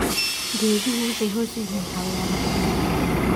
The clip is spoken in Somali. Geeduhu waxay hoy u yihiin xayawaanno badan.